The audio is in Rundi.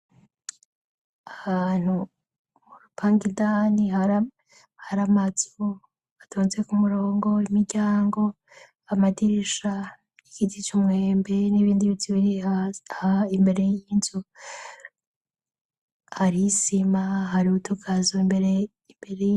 Ahantu, urupangu indani hari amazu atonze ku murongo, imiryango, amadirisha, igiti c'umwembe n'ibindi biti biri imbere y'inzu, hari isima, hari utugazo imbere.